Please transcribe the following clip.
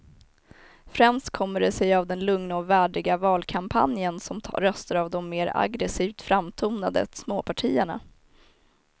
Främst kommer det sig av den lugna och värdiga valkampanjen som tar röster av de mer aggresivt framtonade småpartierna.